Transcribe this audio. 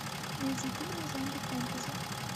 найди фильмы в жанре фэнтези